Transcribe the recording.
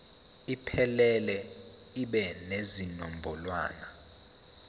iphelele ibe nezinombolwana